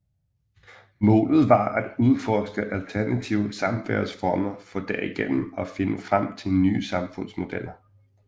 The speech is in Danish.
Målet var at udforske alternative samværsformer for derigennem at finde frem til nye samfundsmodeller